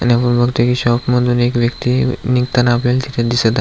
आणि बघतोय कि शाॅप मधुन एक व्यक्ती निघताना आपल्याला तिथं दिस त --